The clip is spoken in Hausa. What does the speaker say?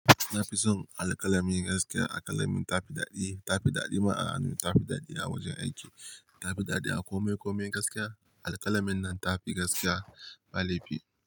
Na fi son alkalami gaskiya alkalamin ta fi daɗi, ta fi daɗi ma a hannu, ta fi daɗi a wajen aiki, ta fi daɗi a kome kome gaskiya. Alƙalamin nan ta fi gaskiya ba laifi.